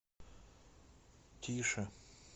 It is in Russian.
тише